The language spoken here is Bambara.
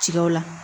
Tigaw la